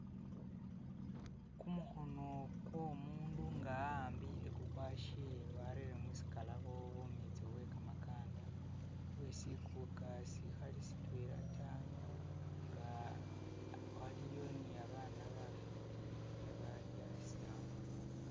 Kumukhono kwo umundu nga awambile kukwashe warere musikalabo bumitso bwe kamakanda bwe sikuka sikhali sitwela ta naa waliyo ne babana bafwiti abali asi awo